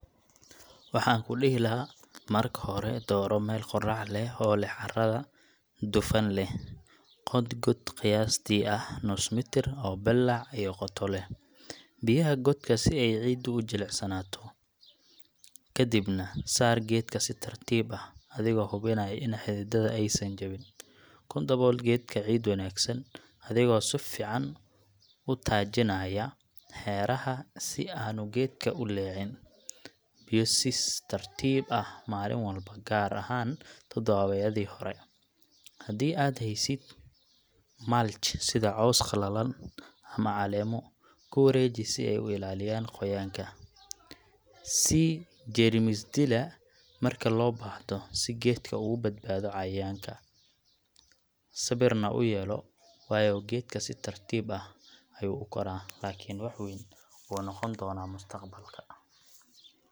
Haa, waan xasuustaa markii iigu horreysay ee aan geed beero. Waxay ahayd anigoo dugsiga dhexe dhigta, waxaan ka qaybgalay maalinta geedka ee deegaanka. Waxaan la aadnay fasalkayga meel bannaan ah oo qorrax leh. Waxaa nala siiyay geedo yaryar, baaldi biyo ah, iyo qalab qodis. Markii aan qodayay godka, runtii waan daalay, laakiin qalbigayga farxad ayuu la buuxsamay. Waxaan si taxaddar leh u geliyay geedka godkii, waxaan ku adkeeyay ciidii, waxaanna siiyay biyo. Intaas ka dib, mar kasta oo roob da’o ama aan halkaas maro, qalbigaygu wuu farxaa anigoo leh ‘kan waa geedkeygii’. Waayo-aragnimadaas waxay iga dhigtay qof u damqada deegaanka, waxayna ahayd bilowgii safarkayga ee ilaalinta dabeecadda. Weli waxaan aaminsanahay in qof walba uu geed beeri karo – waana tallaabo yar oo leh saameyn weyn oo waarta.